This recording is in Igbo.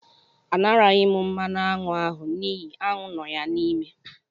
A naraghị m mmanụ aṅụ ahụ n'ihi aṅụ nọ ya n'ime.